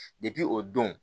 o don